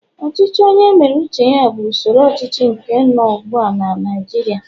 ochichi onye mere uche ya bu usoro ochichi nke no ugbua na Naijiria